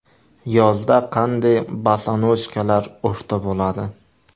Yozda qanday bosonojkalar urfda bo‘ladi?.